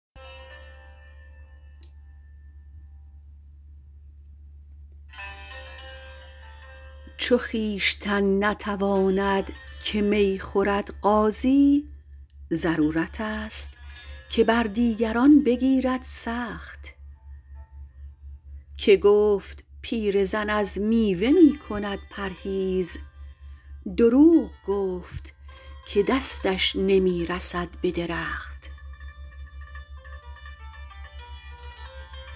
چو خویشتن نتواند که می خورد قاضی ضرورتست که بر دیگران بگیرد سخت که گفت پیرزن از میوه می کند پرهیز دروغ گفت که دستش نمی رسد به درخت